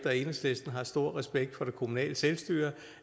og enhedslisten har stor respekt for det kommunale selvstyre